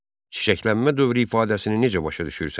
Çiçəklənmə dövrü ifadəsini necə başa düşürsən?